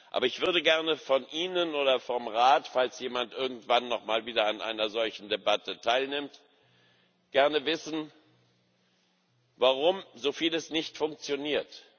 Aber ich würde gerne von Ihnen oder vom Rat, falls jemand irgendwann noch mal wieder an einer solchen Debatte teilnimmt, gerne wissen, warum so vieles nicht funktioniert.